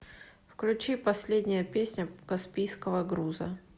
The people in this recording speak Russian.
включи последняя песня каспийского груза